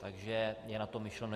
Takže je na to myšleno.